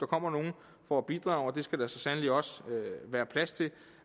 kommer nogle for at bidrage og det skal der så sandelig også være plads til